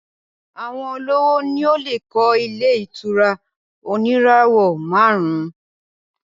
Àwọn olówó ni ó lè kọ́ ilé ìtura oníràwọ̀ márùn-ún